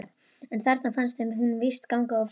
En þarna fannst þeim hún víst ganga of langt.